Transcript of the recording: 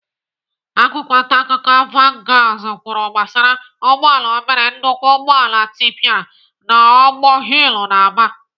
Akwụkwọ ntaakụkọ vanguards kwuru gbasara ụgbọala obere nnukwu ụgbọala tịpịara n'ogbor hill nọ n'Aba.